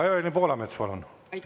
Evelin Poolamets, palun!